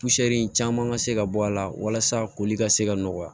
caman ka se ka bɔ a la walasa koli ka se ka nɔgɔya